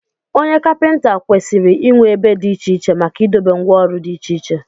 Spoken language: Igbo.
Onye Kapịnta kwesịrị inwe ebe dị iche iche maka idobe ngwá ọrụ dị iche iche